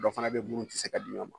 Dɔ fana bɛ minnu tɛ se ka di ɲɔgɔn ma